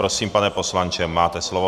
Prosím, pane poslanče, máte slovo.